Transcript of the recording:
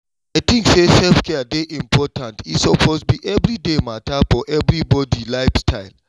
i tink say self-care dey important e suppose be everyday matter for everybody life style.